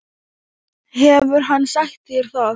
Hefur hann sagt þér það?